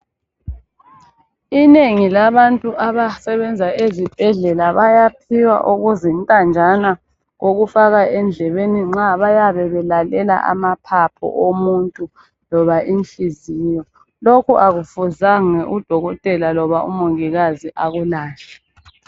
Inengi labantu abasebenza ezibhedlela bayaphiwa okuzintanjana okufakwa endlebeni nxa bayabe belalela amaphaphu omuntu loba inhliziyo, lokhu akufuzange udokotela loba umongikazi akulahle.